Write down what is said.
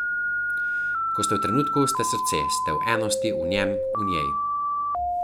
Ko ste v trenutku, ste srce, ste v enosti, v njem, v njej.